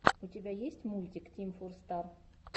у тебя есть мультик тим фор стар